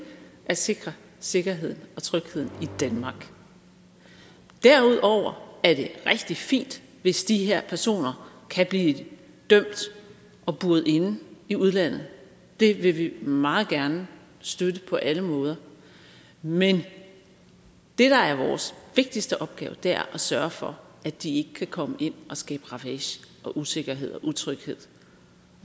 at sikre sikkerheden og trygheden i danmark derudover er det rigtig fint hvis de her personer kan blive dømt og buret inde i udlandet det vil vi meget gerne støtte på alle måder men det der er vores vigtigste opgave er at sørge for at de ikke kan komme ind og skabe ravage og usikkerhed og utryghed